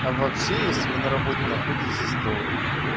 а вообще если вы на работе находитесь то